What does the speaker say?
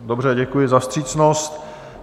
Dobře, děkuji za vstřícnost.